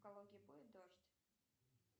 в калуге будет дождь